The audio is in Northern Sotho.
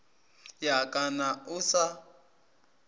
ya ka na o sa